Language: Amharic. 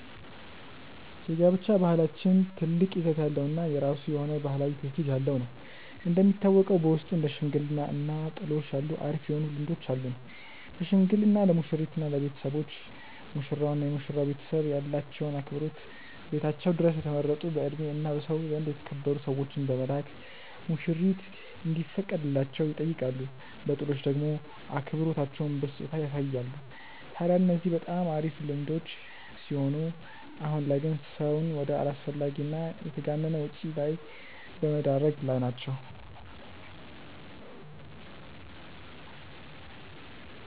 የጋብቻ ባህላችን ትልቅ ይዘት ያለው እና የራሱ የሆነ ባህላዊ ትውፊት ያለው ነው። እንደሚታወቀው በውስጡ እንደ ሽምግልና እና ጥሎሽ ያሉ አሪፍ የሆኑ ልምዶች አሉን። በሽምግልና ለሙሽሪት እና ለቤተሰቦች፤ ሙሽራው እና የመሽራው ቤተሰብ ያላቸውን አክብሮት ቤታቸው ድረስ የተመረጡ በእድሜ እና በሰው ዘንድ የተከበሩ ሰዎችን በመላክ ሙሽሪት እንዲፈቀድላቸው ይጠይቃሉ። በጥሎሽ ደሞ አክብሮታቸውን በስጦታ ያሳያሉ። ታድያ እነዚህ በጣም አሪፍ ልምዶች ሲሆኑ አሁን ላይ ግን ሰውን ወደ አላስፈላጊ እና የተጋነነ ወጪ ላይ በመደረግ ላይ ናቸው።